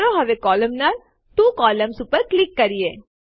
ચાલો હવે કોલમનાર ત્વો કોલમ્ન્સ ઉપર ક્લિક કરીએ